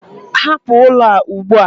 Hapụ ụlọ a ugbu a!